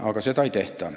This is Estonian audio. Aga seda ei tehta.